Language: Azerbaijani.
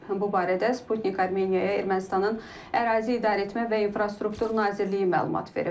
Bu barədə Sputnik Armeniya Ermənistanın Ərazi İdarəetmə və İnfrastruktur Nazirliyi məlumat verib.